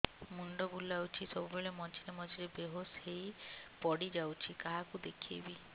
ମୁଣ୍ଡ ବୁଲାଉଛି ସବୁବେଳେ ମଝିରେ ମଝିରେ ବେହୋସ ହେଇ ପଡିଯାଉଛି କାହାକୁ ଦେଖେଇବି